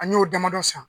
An y'o damadɔ san